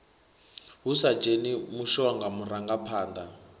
hu sa dzheni mushonga murangaphanḓa